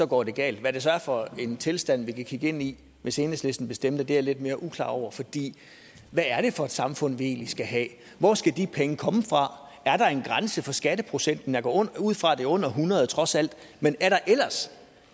går det galt hvad det så er for en tilstand vi kan kigge ind i hvis enhedslisten bestemte er jeg lidt mere uklar over for fordi hvad er det for et samfund vi egentlig skal have hvor skal de penge komme fra er der en grænse for skatteprocenten jeg går ud fra at det er under hundrede trods alt men er der